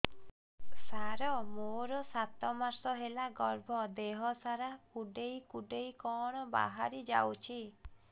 ସାର ମୋର ସାତ ମାସ ହେଲା ଗର୍ଭ ଦେହ ସାରା କୁଂଡେଇ କୁଂଡେଇ କଣ ବାହାରି ଯାଉଛି